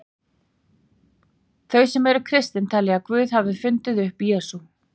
Þau sem eru kristin telja að Guð hafi fundið upp Jesú.